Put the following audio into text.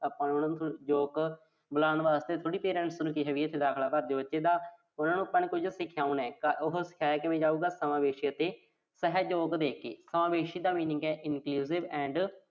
ਆਪਾਂ ਉਹਨੂੰ ਯੋਗ ਬਣਾਉਣ ਵਾਸਤੇ ਦਾਖਲਾ ਭਰਦੇ ਆਂ ਬੱਚੇ ਦਾ। ਉਨ੍ਹਾਂ ਨੂੰ ਆਪਾਂ ਨੇ ਕੁਝ ਸਿਖਾਉਣਾ। ਉਹੋ ਸਿਖਾਇਆ ਕਿਵੇਂ ਜਾਊਗਾ। ਸਮਾਵੇਸ਼ੀ ਅਤੇ ਸਹਿਯੋਗ ਦੇ ਕੇ ਸਮਾਵੇਸ਼ੀ ਦਾ ਮਤਲਬ ਆ inclusive